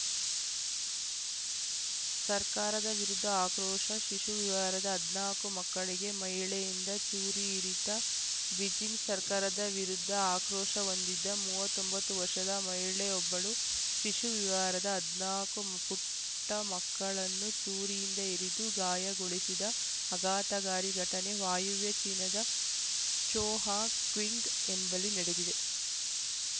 ಸರ್ಕಾರದ ವಿರುದ್ಧ ಆಕ್ರೋಶ ಶಿಶುವಿವಾರದ ಹದಿನಾಲ್ಕು ಮಕ್ಕಳಿಗೆ ಮಹಿಳೆಯಿಂದ ಚೂರಿ ಇರಿತ ಬೀಜಿಂಗ್‌ ಸರ್ಕಾರದ ವಿರುದ್ಧ ಆಕ್ರೋಶ ಹೊಂದಿದ್ದ ಮೂವತ್ತ್ ಒಂಬತ್ತು ವರ್ಷದ ಮಹಿಳೆಯೊಬ್ಬಳು ಶಿಶುವಿವಾರದ ಹದಿನಾಲ್ಕು ಪುಟ್ಟಮಕ್ಕಳನ್ನು ಚೂರಿಯಿಂದ ಇರಿದು ಗಾಯಗೊಳಿಸಿದ ಆಘಾತಕಾರಿ ಘಟನೆ ವಾಯುವೆ ಚೀನಾದ ಚೋಂಹ್‌ಕ್ವಿಂಟ್ ಎಂಬಲ್ಲಿ ನಡೆದಿದೆ